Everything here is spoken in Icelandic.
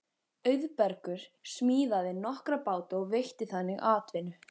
Auðbergur smíðaði nokkra báta og veitti þannig atvinnu.